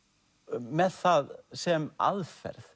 með það sem aðferð